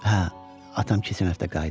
Hə, atam keçən həftə qayıdıb.